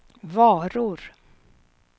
varor